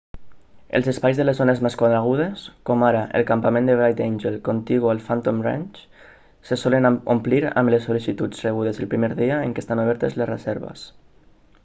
els espais de les zones més conegudes com ara el campament de bright angel contigu al phantom ranch se solen omplir amb les sol·licituds rebudes el primer dia en què estan obertes les reserves